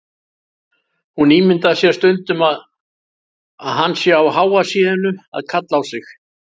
Hún ímyndar sér stundum að hann sé á háa sé-inu að kalla á sig.